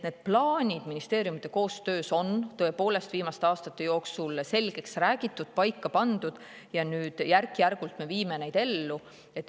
Need plaanid ministeeriumide koostöös on tõepoolest viimaste aastate jooksul selgeks räägitud, paika pandud, ja nüüd järk-järgult viime neid ellu.